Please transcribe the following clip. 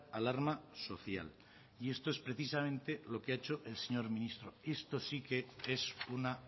alarma social y esto es precisamente lo que ha hecho el señor ministro esto sí que es una